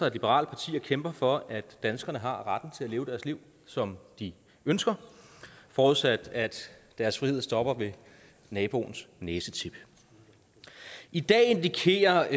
et liberalt parti og kæmper for at danskerne har retten til at leve deres liv som de ønsker forudsat at deres frihed stopper ved naboens næsetip i dag indikerer